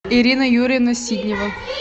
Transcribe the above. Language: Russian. ирина юрьевна сиднева